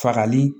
Fagali